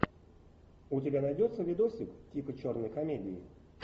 у тебя найдется видосик типа черной комедии